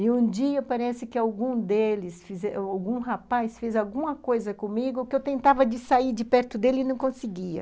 E um dia parece que algum deles fize, algum rapaz fez alguma coisa comigo que eu tentava sair de perto dele e não conseguia.